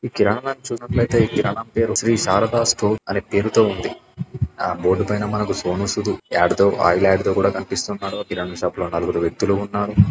ఈ కిరాణాన్ని చూస్తున్నట్లైతే ఈ కిరాణం పేరు శ్రీ శారద స్టోర్ అనే పేరుతో ఉంది. ఆ బోర్డ్ పైన మనకు సోను సూదు యాడ్ తో ఆయిల్ యాడ్ తో కూడా కనిపిస్తున్నాడు. కిరాణా షాప్ లో నలుగురు వ్యక్తులు ఉన్నారు